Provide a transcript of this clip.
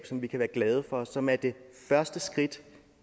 som vi kan være glade for og som er det første skridt